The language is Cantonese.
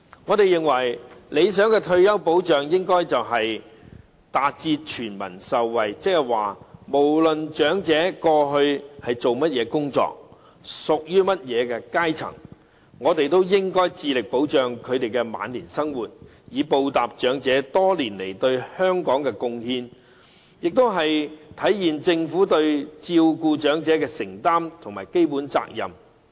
我們認為，理想的退休保障應該達致全民受惠，換句話說，不論長者過去從事甚麼工作，屬於甚麼階層，我們都應該致力保障他們的晚年生活，以報答長者多年來對香港的貢獻，並體現政府對照顧長者的承擔和基本責任。